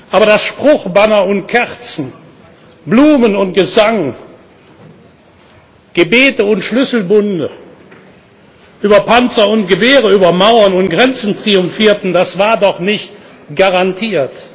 Aber dass Spruchbanner und Kerzen, Blumen und Gesang, Gebete und Schlüsselbunde über Panzer und Gewehre, über Mauern und Grenzen triumphierten, das war doch nicht garantiert!